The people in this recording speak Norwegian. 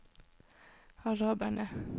araberne